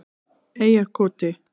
Eyjarkoti